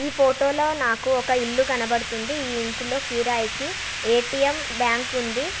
ఈ ఫొటో లో నాకు ఒక ఇల్లు కనపడుతుంది. ఈ ఇంటిలో కిరాయికి ఏ_టీ_ ఎమ్ బ్యాంకు ఉంది.